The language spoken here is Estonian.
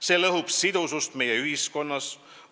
See lõhub sidusust meie ühiskonnas.